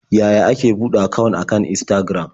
Yaya ake buɗe akawun akan Instagram?